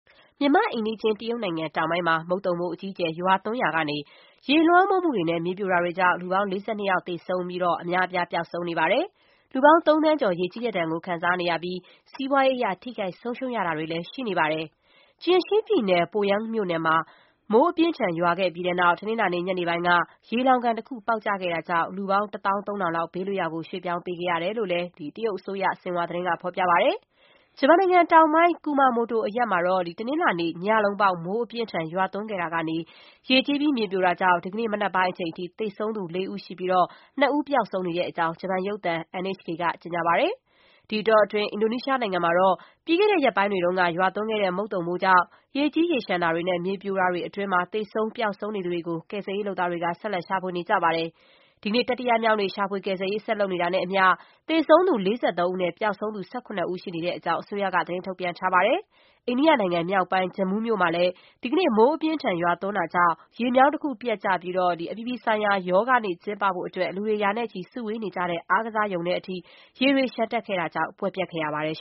မြန်မာ့အိမ်နီးချင်း တရုတ်နိုင်ငံတောင်ပိုင်းမှာ မုန်သုန်မိုး အကြီးအကျယ်ရွာသွန်းရာကနေ ရေလွှမ်းမိုးမှုတွေနဲ့ မြေပြိုတာတွေကြောင့် လူပေါင်း ၄၂ ယောက် သေဆုံးခဲ့ရပြီး အများအပြား ပျောက်ဆုံးနေပါတယ်။ လူပေါင်း သုံးသန်းကျော် ရေကြီးတဲ့ဒဏ်ကို ခံနေရပြီး စီးပွားရေးအရ ထိခိုက် ဆုံးရှုံးရတာတွေလည်း ရှိနေပါတယ်။ Jiangxi ပြည်နယ် Poyang မြို့နယ်မှာ မိုးအပြင်းအထန် ရွာခဲ့ပြီးတဲ့နောက် တနင်္လာနေ့ ညနေပိုင်းက ရေလှောင်ကန်တခု ပေါက်ကျခဲ့တာကြောင့် လူပေါင်း ၁၃,၀၀၀ လောက် ဘေးလွတ်ရာ ရွှေ့ပြောင်းခဲ့ရတဲ့အကြောင်း တရုတ်အစိုးရ Xinhua သတင်းက ဖော်ပြပါတယ်။ ဂျပန်နိုင်ငံတောင်ပိုင်း Kumamoto အရပ်မှာလလည်း တနင်္လာနေ့ညလုံးပေါင်း မိုး အပြင်းအထန် ရွာသွန်းခဲ့တာ ကနေ ရေကြီးပြီး မြေပြိုတာကြောင့် ဒီကနေ့ မနက်ပိုင်းအချိန်အထိ သေဆုံးသူ ၄ ဦးရှိပြီး ၂ ဦး ပျောက်ဆုံးနေတဲ့ အကြောင်း ဂျပန်ရုပ်သံ NHK က ကြေညာပါတယ်။ ဒီအတောအတွင်း အင်ဒိုနီးရှားနိုင်ငံမှာတော့ ပြီးခဲ့တဲ့ရက်ပိုင်းတွေက ရွာသွန်းခဲ့တဲ့ မုန်သုန်မိုးကြောင့် ရေကြီးရေလျှံတာ တွေနဲ့ မြေပြိုမှုတွေအတွင်း သေဆုံး ပျောက်ဆုံးနေသူတွေကို ကယ်ဆယ်ရေးလုပ်သားတွေက ဆက်လက် ရှာဖွေနေကြပါတယ်။ ဒီကနေ့ တတိယမြောက်နေ့ ရှာဖွေကယ်ဆယ်ရေး ဆက်လုပ်နေတာနဲ့အမျှ သေဆုံးသူ ၄၃ ဦးနဲ့ ပျောက်ဆုံးသူ ၁၇ ဦး ရှိနေတဲ့အကြောင်း အစိုးရက သတင်းထုတ်ပြန်ထားပါတယ်။ အိန္ဒိယနိုင်ငံမြောက်ပိုင်း Jammu မြို့မှာလည်း ဒီကနေ့ မိုးအပြင်းအထန် ရွာသွန်းတာကြောင့် ရေမြောင်းတခု ပျက်ပြီး အပြည်ပြည်ဆိုင်ရာ ယောဂနေ့ ကျင်းပဖို့အတွက် လူတွေ ရာနဲ့ချီ စုဝေးနေကြတဲ့ အားကစားရုံထဲ အထိ ရေတွေ လျှံတက်ခဲ့ တာကြောင့် ပွဲပျက်ခဲ့ရပါတယ်